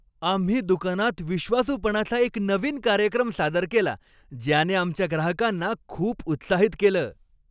आम्ही दुकानात विश्वासूपणाचा एक नवीन कार्यक्रम सादर केला ज्याने आमच्या ग्राहकांना खूप उत्साहित केलं.